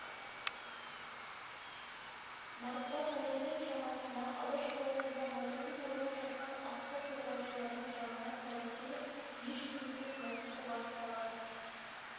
мартта таңертең шамасында алаш қаласында мылтықсыз ойнап жатқан атты қорғаушылардың жанына солдат келіп еш себепсіз мылтықты басып қалады